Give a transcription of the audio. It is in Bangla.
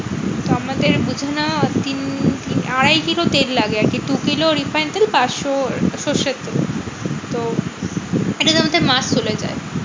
তো আমাদের মধ্যে না তিন তিন আড়াই কিলো তেল লাগে আরকি দু কিলো refined তেল পাঁচশো সর্ষের তেল। তো এটার মধ্যে মাস চলে যায়।